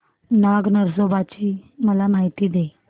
नाग नरसोबा ची मला माहिती दे